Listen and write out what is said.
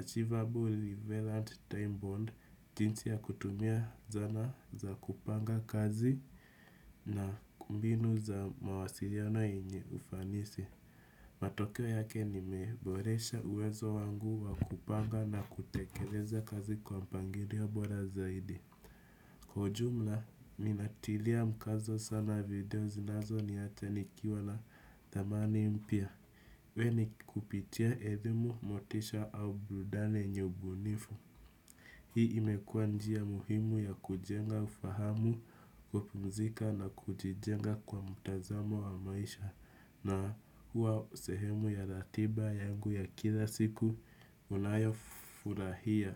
Achievable level and time bond, jinsi ya kutumia zana za kupanga kazi na kumbinu za mawasiliano inye ufanisi. Matokyo yake ni meboresha uwezo wangu wa kupanga na kutekeleza kazi kwa mpangiria bora zaidi. Kwa ujumla, minatilia mkazo sana video zinazo ni hata nikiwa na thamani mpia. We ni kupitia edhimu motisha au bludane nyobunifu. Hii imekua njia muhimu ya kujenga ufahamu kupumzika na kujijenga kwa mutazamo wa maisha na hua sehemu ya ratiba yangu ya kila siku unayo furahia.